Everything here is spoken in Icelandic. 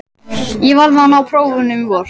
Ég verð að ná prófunum í vor.